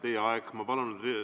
Teie aeg on täis.